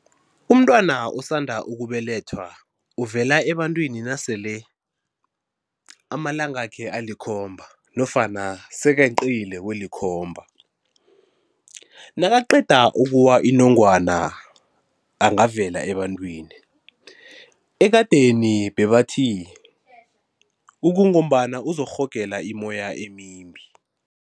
Umntwana osanda ukubelethwa uvela ebantwini nasele amalangakhe alikhomba nofana sekeqile kwelikhomba. Nakaqeda ukuwa inongwana angavela ebantwini, ekadeni bebathi ukungombana uzokurhogela imoya emimbi